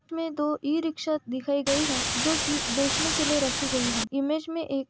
इस में दो रिक्सा दिखाई गई है जो कि बेचने के लिए रखी गई हैं। इमेज में एक --